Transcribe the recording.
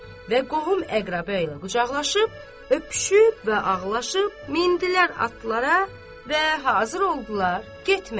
Və qohum-əqrəba ilə qucaqlaşıb, öpüşüb və ağlaşıb mindilər atlara və hazır oldular getməyə.